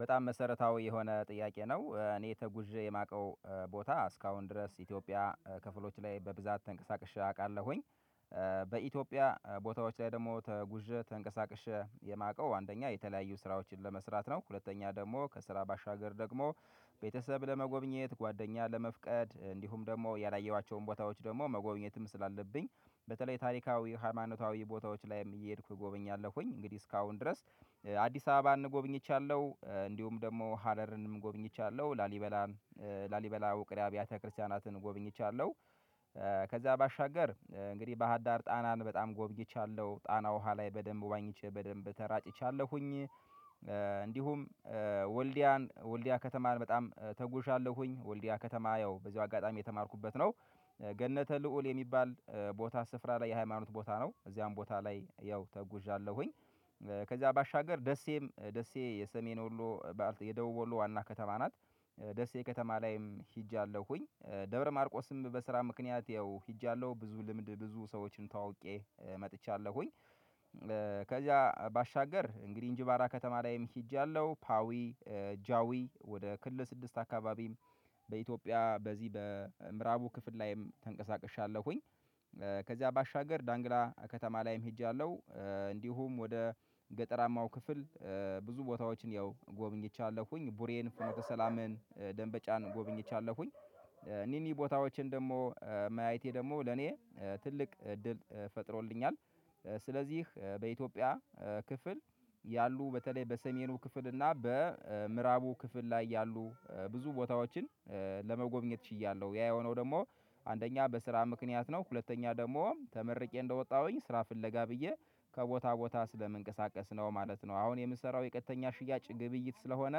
በጣም መሰረታዊ የሆነ ጥያቄ ነው እኔ ተጉዤ የማውቀው ቦታ እስካሁን ድረስ ኢትዮጵያ ክፍሎች ላይ በብዛት ተንቀሳቅሼ አውቃለሁኝ። በኢትዮጵያ ቦታዎች ላይ ደግሞ ተጉዤ ተንቀሳቅሼ የማውቀው አንደኛ የተለያዩ ስራዎችን ለመስራት ነው። ሁለተኛ ደግሞ ከስራ ባሻገር ደግሞ ቤተሰብ ለመጎብኘት ጓደኛ ለመፍቀድ እንዲሁም ደግሞ ያላየኋቸውን ቦታዎች ደግሞ መጎብኘትም ስላለብኝ። በተለይ ታሪካዊ ሃይማኖታዊ ቦታዎች ላይም እየሄድኩ እጎበኛለሁኝ። እንግዲህ እስካሁን ድረስ አዲስ አበባ እንጎብኝቻለሁ እንዲሁም ደግሞ ሀረርንም ጎብኝቻለሁ ላሊበላን ላሊበላ ውቅር አብያተ ክርስቲያናትን ጎብኝቻለሁ። ከዛ ባሻገር እንግዲህ ባህዳር ጣናን በጣም ጎብኝቻለሁ ጣና ውሃ ላይ በደንብ ዋኝቼ በደንብ ተራጭቻለሁኝ። እንዲሁም ወልዲያን ወልዲያ ከተማን በጣም ተጉዣ ለሁኝ ወልዲያ ከተማ ያው በዚሁ አጋጣሚ የተማርኩበት ነው። ገነተ ልዑል የሚባል ቦታ ስፍራ ላይ የሃይማኖት ቦታ ነው። እዚያም ቦታ ላይ ያው ተጉዣለሁኝ። ከዛ ባሻገር ደሴም ደሴ። የደቡብ ወሎ ዋና ከተማ ናት። ደሴ ከተማ ላይም ሂጃለሁኝ ደብረማርቆስም በስራ ምክንያት ያው ሄጃለሁ ብዙ ልምድ ብዙ ሰዎችን ተዋውቄ መጥቻለሁኝ። ከዚያ ባሻገር እንግዲህ እንጂባራ ከተማ ላይም ሄጃለሁ ፓዊ ጃዊ ወደ ክልል ስድስት አካባቢም። በኢትዮጵያ በዚህ በምዕራቡ ክፍል ላይም ተንቀሳቅሻለሁኝ። ከዚያ ባሻገር ዳንግላ ከተማ ላይም ሄጃለሁ። እንዲሁም ወደ ገጠራማው ክፍል ብዙ ቦታዎችን ያው ጎብኝቻለሁኝ ቡሬን ፍኖተ ሰላምን ደንበጫን ጎብኝቻለሁኝ። እኝህን ቦታዎችን ደግሞ ማየቴ ደግሞ ለኔ ትልቅ እድል ፈጥሮልኛል። ስለዚህ በኢትዮጵያ ክፍል ያሉ በተለይ በሰሜኑ ክፍል እና በምዕራቡ ክፍል ላይ ያሉ ብዙ ቦታዎችን ለመጎብኘት ችያለሁ። ያ የሆነው ደግሞ አንደኛ በስራ ምክንያት ነው ሁለተኛ ደግሞ ተመርቄ እንደወጣሁኝ ስራ ፍለጋ ብዬ ከቦታ ቦታ ስለምንቀሳቀስ ነው ማለት ነው። አሁን የምሰራው የቀጥተኛ ሽያጭ ግብይት ስለሆነ።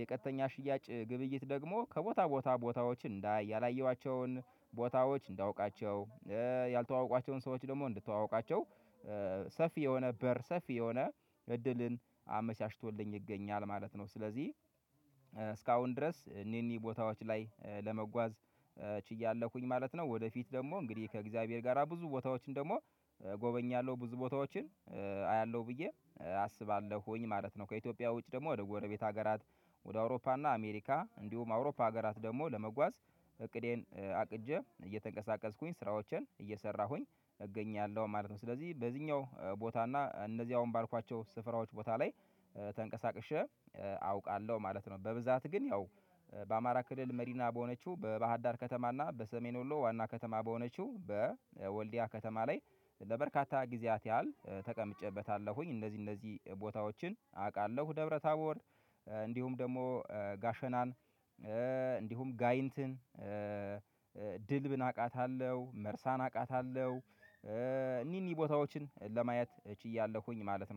የቀጥተኛ ሽያጭ ግብይት ደግሞ ከቦታ ቦታ ቦታዎች እንዳይ ያላየኋቸውን ቦታዎች እንዳውቃቸው ያልተዋወቋቸውን ሰዎች ደግሞ እንድተዋወቃቸው። ሰፊ የሆነ በር ሰፊ የሆነ እድልን አመቻችቶልኝ ይገኛል ማለት ነው። ስለዚህ እስካሁን ድረስ እኒህ እኒህ ቦታዎች ላይ ለመጓዝ ችያለሁኝ ማለት ነው። ወደፊት ደግሞ እንግዲህ ከእግዚአብሔር ጋራ ብዙ ቦታዎችን ደግሞ እጎበኛለሁ ብዙ ቦታዎችን አያለሁ ብዬ አስባለሁኝ ማለት ነው። ከኢትዮጵያ ውጪ ደግሞ ወደ ጎረቤት ሀገራት ወደ አውሮፓ እና አሜሪካ እንዲሁም አውሮፓ ሀገራት ደግሞ ለመጓዝ እቅዴን አቅጄ እየተንቀሳቀስኩኝ ስራዎችን እየሰራሁኝ እገኛለሁ ማለት ነው። ስለዚህ በዚህኛው ቦታ እና እነዚህ አሁን ባልኳቸው ስፍራዎች ቦታ ላይ ተንቀሳቅሼ አውቃለሁ ማለት ነው። በብዛት ግን ያው በአማራ ክልል መዲና በሆነችው በባህዳር ከተማ እና በሰሜን ወሎ ዋና ከተማ በሆነችው በወልዲያ ከተማ ላይ ለበርካታ ጊዜያት ያህል ተቀምጨበታለሁኝ። እንደዚህ እንደዚህ ቦታዎችን አውቃለሁ ደብረ ታቦር እንዲሁም ደግሞ ጋሸናን እንዲሁም ጋይንትን ድልብን አቃታለሁ። መርሳን አቃታለሁ። እኒህ እኒህ ቦታዎችን ለማየት እችያለሁኝ ማለት ነው